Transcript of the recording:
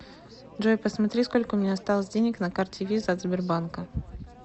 джой посмотри сколько у меня осталось денег на карте виза от сбербанка